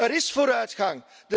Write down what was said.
Er is vooruitgang.